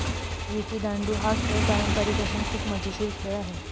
विटीदांडू हा खेळ पारंपरिक असून खूप मजेशीर खेळ आहे.